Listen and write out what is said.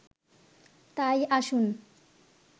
তাই আসুন